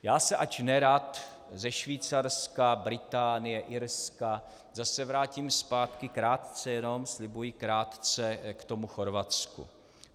Já se, ač nerad, ze Švýcarska, Británie, Irska zase vrátím zpátky, krátce jenom, slibuji, krátce, k tomu Chorvatsku.